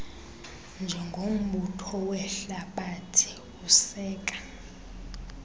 njengombutho wehlabathi useka